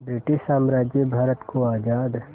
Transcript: British साम्राज्य भारत को आज़ाद